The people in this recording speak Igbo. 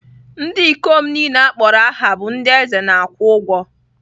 Ndị ikom niile a kpọrọ aha bụ ndị eze na-akwụ ụgwọ.